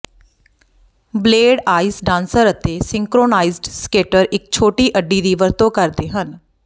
blade ice dancer ਅਤੇ synchronised skater ਇਕ ਛੋਟੀ ਅੱਡੀ ਦੀ ਵਰਤੋਂ ਕਰਦੇ ਹਨ